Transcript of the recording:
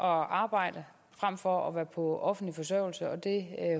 arbejde frem for at være på offentlig forsørgelse og det